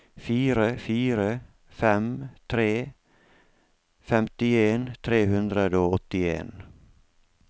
fire fire fem tre femtien tre hundre og åttien